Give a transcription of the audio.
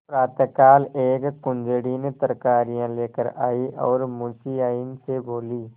प्रातःकाल एक कुंजड़िन तरकारियॉँ लेकर आयी और मुंशियाइन से बोली